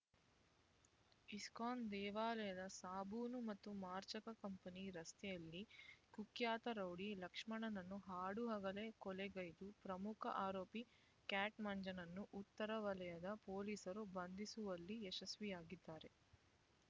ISKCON ದೇವಾಲಯದ ಸಾಬೂನು ಮತ್ತು ಮಾರ್ಜಕ ಕಂಪನಿಯ ರಸ್ತೆಯಲ್ಲಿ ಕುಖ್ಯಾತ ರೌಡಿ ಲಕ್ಷ್ಮಣನನ್ನು ಹಾಡುಹಗಲೇ ಕೊಲೆಗೈದ ಪ್ರಮುಖ ಆರೋಪಿ ಕ್ಯಾಟ್ ಮಂಜನನ್ನು ಉತ್ತರ ವಲಯದ ಪೊಲೀಸರು ಬಂಧಿಸುವಲ್ಲಿ ಯಶಸ್ವಿಯಾಗಿದ್ದಾರೆ